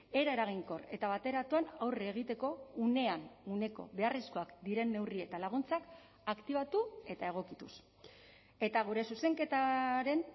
era eraginkor eta bateratuan aurre egiteko unean uneko beharrezkoak diren neurri eta laguntzak aktibatu eta egokituz eta gure zuzenketaren